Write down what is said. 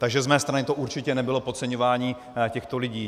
Takže z mé strany to určitě nebylo podceňování těchto lidí.